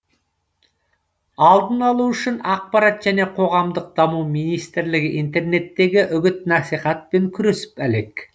алдын алу үшін ақпарат және қоғамдық даму министрлігі интернеттегі үгіт насихатпен күресіп әлек